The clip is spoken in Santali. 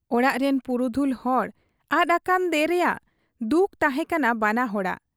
ᱚᱲᱟᱜ ᱨᱤᱱ ᱯᱩᱨᱩᱫᱷᱩᱞ ᱦᱚᱲ ᱟᱫ ᱟᱠᱟᱫ ᱫᱮ ᱨᱮᱭᱟᱝ ᱫᱩᱠ ᱛᱟᱦᱮᱸ ᱠᱟᱱᱟ ᱵᱟᱱᱟ ᱦᱚᱲᱟᱜ ᱾